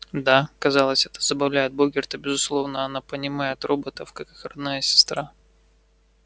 да казалось это забавляет богерта безусловно она понимает роботов как их родная сестра